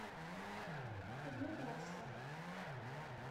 углегорска